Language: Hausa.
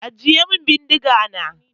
Ajiye min bindiga na!